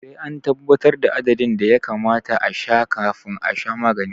Sai an tabbatar da adadin da ya kamata a sha kafin a sha magani